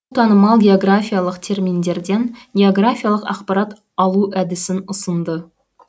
танымал географиялық терминдерден географиялық ақпарат алу әдісін ұсынды